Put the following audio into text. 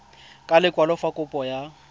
ka lekwalo fa kopo ya